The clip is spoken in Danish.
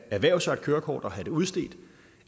erhverve sig et kørekort og have det udstedt